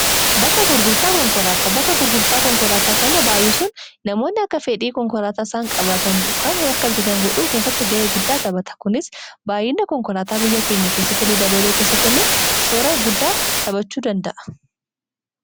Bakka gurgurtaa konkolaataa kana baay'isuun namoonni akka fedhii konkolaataa isaan qabaatan kan akka bitatan godhuu keessatti ga'ee guddaa taphata. Kunis baay'ina konkolaataa biyya keenya keessatti illee dabaluu keessatti illee shoora guddaa taphachuu danda'a.